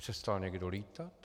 Přestal někdo lítat?